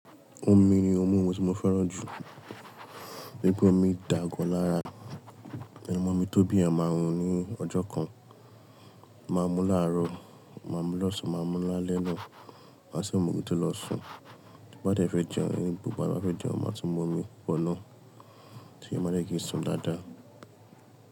Omi ni ohun mímù tí mo fẹ́ràn jù. Gẹ́gẹ́ bí omi ń dà gọ́ lára, ẹni mọ omi tóbi à máa hun ní ọjọ́ kan, máa mú láàrọ̀, máa mú lọ̀sán, máa mú lálẹ́ náà. Maṣe mú ohun tí ó lọ sùn, tí o bá dé fẹ́ jẹun ni gbogbo àwọn bá fẹ́ jẹun, màá tún mú omi pọ̀ náà, kí a má lè gẹ́ẹ́ sùn dáadáa.